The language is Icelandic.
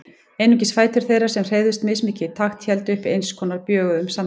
Einungis fætur þeirra, sem hreyfðust mismikið í takt, héldu uppi eins konar bjöguðum samræðum.